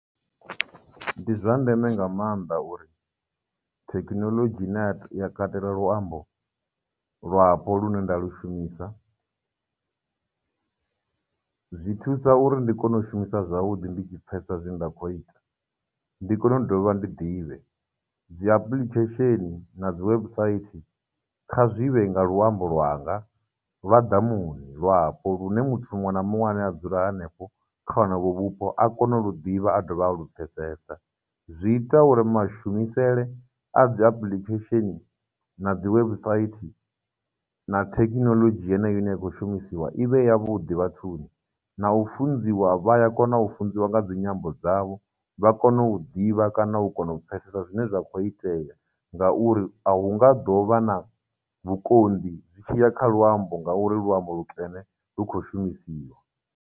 Ndi zwa ndeme nga maanḓa uri thekinoḽodzhi ine ya katela luambo lwapo lune nda lu shumisa. Zwi thusa uri ndi kone u shumisa zwavhuḓi ndi tshi phesesa zwine nda khou ita, ndi kone u dovha ndi ḓivhe. Dzi application na dzi website kha zwi vhe nga luambo lwanga lwa ḓamuni, lwapo, lune muthu muṅwe na muṅwe ane a dzula hanefho kha honovho vhupo a kone u lu ḓivha a dovha a lupfhesesa. Zwi ita uri mashumisele a dzi application, na dzi website, na thekinoḽodzhi yeneyo ine ya khou shumisiwa i vhe ya vhuḓi vhathuni, na u funziwa vha ya kona u funziwa nga dzinyambo dzavho vha kono u ḓivha kana u kona u pfhesesa zwine zwa khou itea ngauri ahu nga ḓovha na vhukonḓi zwi tshiya kha luambo ngauri luambo lukene lu khou shumisiwa.